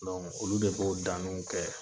Don olu de b'o daniw kɛ.